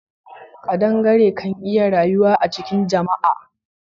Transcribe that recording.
Kadangare kan iya rayuwa a cikin jama'a.